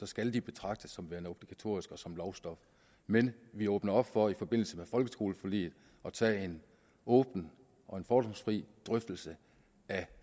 skal de betragtes som værende obligatoriske og som lovstof men vi åbner op for i forbindelse med folkeskoleforliget at tage en åben og fordomsfri drøftelse af